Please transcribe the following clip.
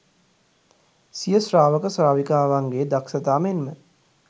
සිය ශ්‍රාවක ශ්‍රාවිකාවන්ගේ දක්ෂතා මෙන් ම